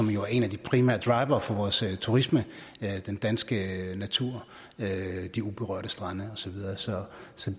er jo en af de primære drivere for vores turisme den danske natur de uberørte strande og så videre så